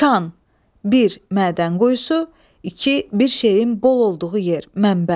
Kan, bir, mədən qoyusu, iki, bir şeyin bol olduğu yer, mənbə.